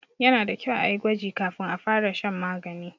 Yana da kyau a yi gwaji kafin a fara shan magani.